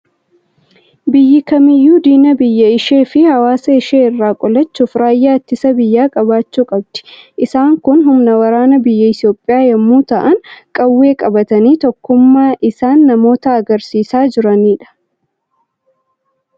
Biyyi kamiiyyuu diina biyya ishee fi hawaasa ishee irraa qolachuuf raayyaa ittisa biyyaa qabaachuu qabdi. Isaan kun humna waraanaa biyya Itoophiyaa yommuu ta'an, qawwee qabatanii tokkummaa isaan namoota argisiisaa jiranidha.